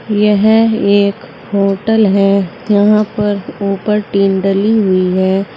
यह एक होटल है यहाँ पर उपर टिन डली हुई है।